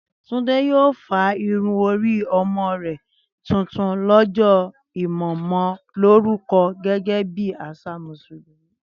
Túndé yóò fá irun orí ọmọ rẹ̀ tuntun lọ́jọ́ ìmọmọlórúkọ gẹ́gẹ́ bí àṣà Mùsùlùmí